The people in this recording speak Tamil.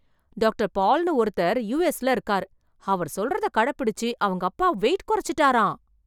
டாக்டர் பால் ன்னு ஒருத்தர் யூ எஸ் ல இருக்கார் அவர் சொல்றத கடப்பிடிச்சு அவங்க அப்பா வெயிட் கொறச்சுட்டாராம்.